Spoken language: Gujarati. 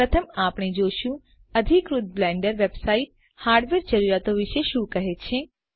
પ્રથમ આપણે જોશું અધિકૃત બ્લેન્ડર વેબસાઈટ હાર્ડવેર જરૂરિયાતો વિશે શું કહે છે